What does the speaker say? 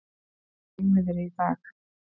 Hægviðri í dag